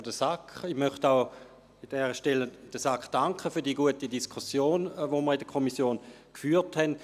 An dieser Stelle möchte ich der SAK auch für die gute Diskussion danken, die wir in der Kommission führten.